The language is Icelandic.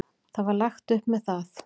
Það var lagt upp með það.